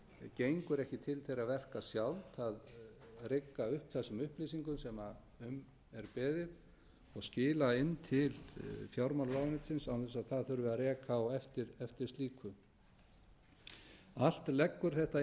gengur ekki til þeirra verka sjálft að rigga upp þessum upplýsingum sem um er beðið og skila inn til fjármálaráðuneytisins án þess að það þurfi að reka á eftir slíku allt leggur þetta inn í